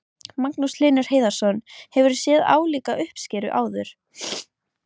Magnús Hlynur Hreiðarsson: Hefurðu séð álíka uppskeru áður?